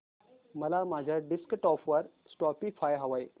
मला माझ्या डेस्कटॉप वर स्पॉटीफाय हवंय